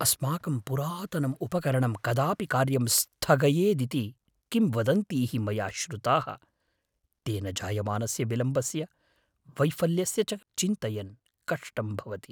अस्माकं पुरातनम् उपकरणं कदापि कार्यं स्थगयेदिति किंवदन्तीः मया श्रुताः। तेन जायमानस्य विलम्बस्य, वैफल्यस्य च चिन्तयन् कष्टं भवति।